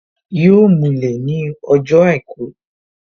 Yọ mulẹ̀ ní ọjọ́ àìkú